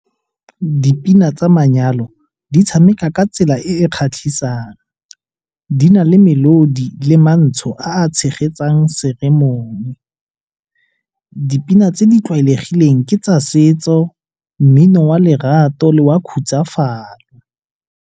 Dipina tsa manyalo di tshameka ka tsela e e kgatlhisang. Di na le melodi le mantsho a a tshegetsang seemong. Dipina tse di tlwaelegileng ke tsa setso, mmino wa lerato le wa khutsafalo.